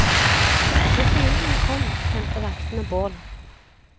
Når fienden kom, tente vaktene bål.